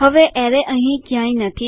હવે અરે અહીં ક્યાંય નથી